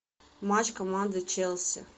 матч команды челси